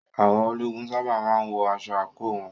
Àwọn ológun sábà má ń wọ aṣọ àǹkóò wọn.